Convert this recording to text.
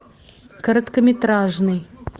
короткометражный